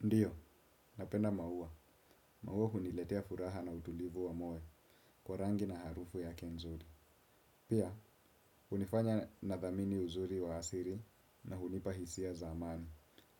Ndiyo, napenda maua. Maua huniletea furaha na utulivu wa moyo kwa rangi na harufu yake nzuri. Pia, hunifanya nathamini uzuri wa asiri na hunipa hisia za amani.